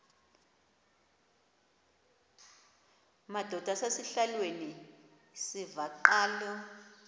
madod asesihialweni sivaqal